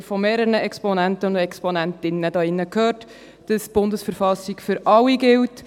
Gestern haben wir hier von mehreren Exponentinnen und Exponenten gehört, dass die BV für alle gilt.